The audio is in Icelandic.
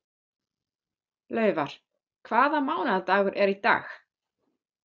Laufar, hvaða mánaðardagur er í dag?